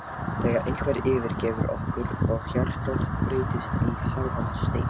þegar einhver yfirgefur okkur og hjartað breytist í harðan stein.